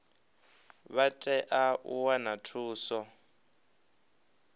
vha tea u wana thuso